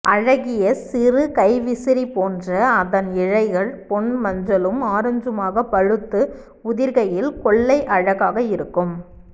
அழகிய சிறு கைவிசிறி போன்ற அதன் இலைகள் பொன்மஞ்சளும் ஆரஞ்சுமாக பழுத்து உதிர்கையில் கொள்ளை அழகாக இருக்கும்